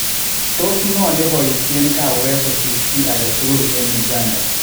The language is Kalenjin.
Tos ng'oo neposisheen kaweek kosir chi agetugul en Uganda?